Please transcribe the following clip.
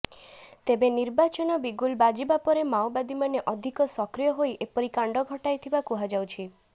ତେବେ ନିର୍ବାଚନ ବିଗୁଲ ବାଜିବା ପରେ ମାଓବାଦୀମାନେ ଅଧିକ ସକ୍ରିୟ ହୋଇ ଏପରି କାଣ୍ଡ ଘଟାଇଥିବା କୁହାଯାଉଛି